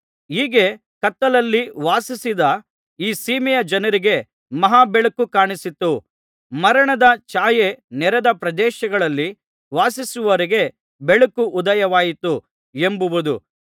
ಹೀಗೆ ಕತ್ತಲಲ್ಲಿ ವಾಸಿಸಿದ ಈ ಸೀಮೆಯ ಜನರಿಗೆ ಮಹಾ ಬೆಳಕು ಕಾಣಿಸಿತು ಮರಣದ ಛಾಯೆ ನೆರೆದ ಪ್ರದೇಶಗಳಲ್ಲಿ ವಾಸಿಸುವವರಿಗೆ ಬೆಳಕು ಉದಯವಾಯಿತು ಎಂಬುದು